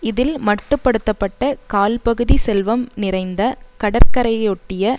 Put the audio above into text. இதில் மட்டு படுத்த பட்ட கால்பகுதி செல்வம் நிறைந்த கடற்கரையையொட்டிய